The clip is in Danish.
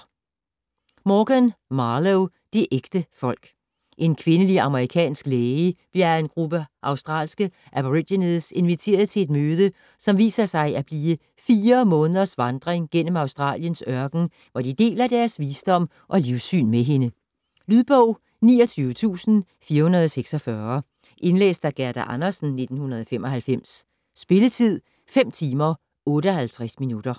Morgan, Marlo: Det ægte folk En kvindelig amerikansk læge bliver af en gruppe australske aborigines inviteret til et møde, som viser sig at blive fire måneders vandring gennem Australiens ørken, hvor de deler deres visdom og livssyn med hende. Lydbog 29446 Indlæst af Gerda Andersen, 1995. Spilletid: 5 timer, 58 minutter.